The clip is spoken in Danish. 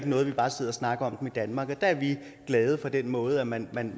noget vi bare sidder og snakker om dem i danmark og der er vi glade for den måde man